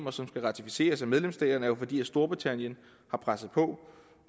og som skal ratificeres af medlemsstaterne fordi storbritannien har presset på